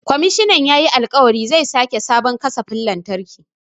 Komishinan yayi alƙawarin zai sake sabon kasafin lantarki.